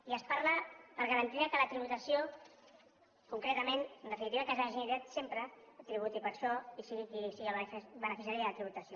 i es parla per garantir que la tributació concretament en definitiva que s’ha generat sempre que tributi per això i sigui qui sigui el beneficiari de la tributació